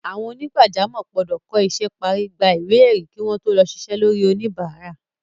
Àwọn onígbàjámọ̀ gbọ́dọ̀ kọ́ isẹ́ parí, gba ìwé ẹ̀rí kí wọ́n tó lè ṣiṣẹ́ lórí oníbàárà.